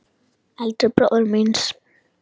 Eldri bróður míns?